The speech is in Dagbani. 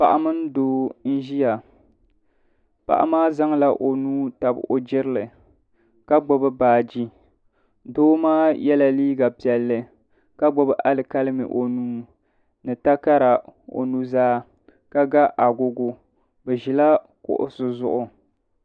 Paɣa mini doo n ʒia paɣa maa zaŋla o nuu tabi o jirili ka gbibi baaji doo maa yela liiga piɛlli ka gbibi alikalimi o nuu ni takara o nuzaa ka ga agogo bɛ ʒila kuɣusi zuɣu.